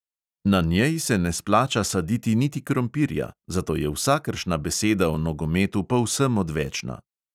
Na njej se ne splača saditi niti krompirja, zato je vsakršna beseda o nogometu povsem odvečna.